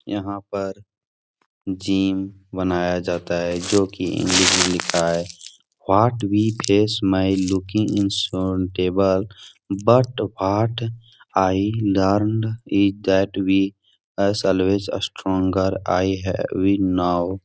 यहाँ पर जिम बनाया जाता है जो कि इंग्लिश में लिखा है what we face may looking insurmountable but what I learned is that we us always stronger I have we now --